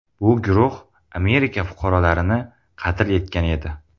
Bu guruh Amerika fuqarolarini qatl etgan edi.